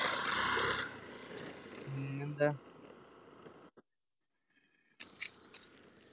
പിന്നെന്താ